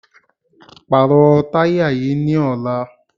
Pàrọ̀ táyà yìí ní ọ̀la!